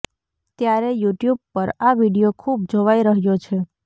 ત્યારે યુટ્યુબ પર આ વિડિયો ખૂબ જોવાઈ રહ્યો છે